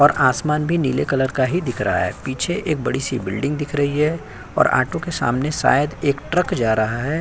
और आसमान भी नीले कलर का ही दिख रहा है। पीछे एक बड़ी-सी बिल्डिंग दिख रही है और आटो के सामने शायद एक ट्रक जा रहा है।